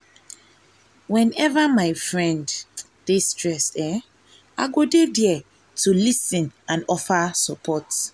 whenever my friend dey stressed um go dey there to lis ten and offer support.